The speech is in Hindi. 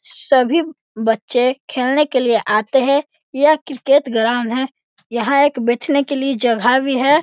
सभी बच्चे खेलने के लिए आते हैं। यह क्रिकेट ग्राउंड है। यहाँ एक बैठने के लिए जगह भी है।